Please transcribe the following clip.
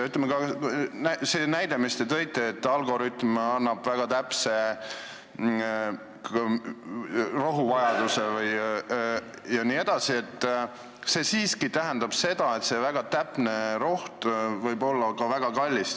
Ütleme, ka selle näite puhul, mis te tõite, et algoritm annab väga täpse rohuvajaduse jne, on nii, et see väga täpne rohi võib olla väga kallis.